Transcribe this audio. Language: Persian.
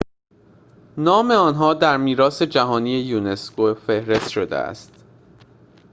نام آنها در میراث جهانی یونسکو فهرست شده است